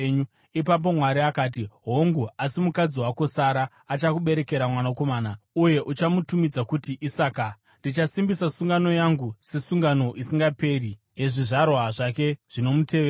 Ipapo Mwari akati, “Hongu, asi mukadzi wako Sara achakuberekera mwanakomana, uye uchamutumidza kuti Isaka. Ndichasimbisa sungano yangu sesungano isingaperi yezvizvarwa zvake zvinomutevera.